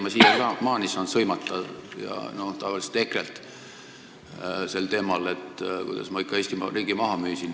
Ma saan siiamaani sõimata, tavaliselt EKRE-lt, selle eest, et ma müüsin Eesti riigi maha.